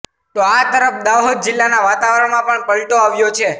તો આ તરફ દાહોદ જિલ્લાના વાતાવરણમાં પણ પલટો આવ્યો છે